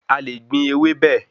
A le gbìn ewébẹ̀